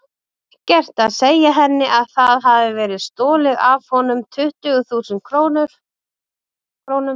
Ekkert að segja henni að það hafi verið stolið af honum tuttugu þúsund krónum.